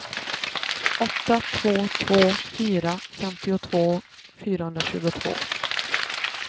åtta två två fyra femtiotvå fyrahundratjugotvå